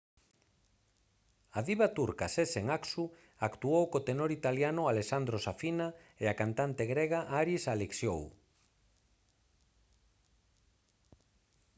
a diva turca sezen aksu actuou co tenor italiano alessandro safina e a cantante grega haris alexiou